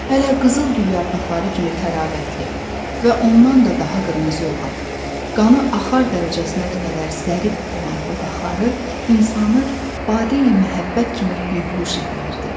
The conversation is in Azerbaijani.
Hələ qızılgül yarpaqları kimi təravətli və ondan da daha qırmızı olan, qanı axar dərəcəsinə qədər zərif olan dodaqları insanı bade-i məhəbbət kimi bəyhuş eləyirdi.